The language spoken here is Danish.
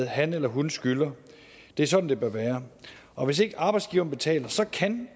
han eller hun skylder det er sådan det bør være og hvis ikke arbejdsgiveren betaler kan